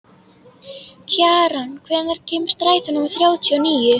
Kjaran, hvenær kemur strætó númer þrjátíu og níu?